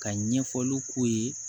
Ka ɲɛfɔliw k'u ye